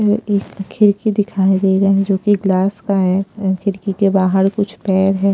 अ एक खिड़की दिखाई दे रहा है जो कि ग्लास का है खिड़की के बाहर कुछ पैर है।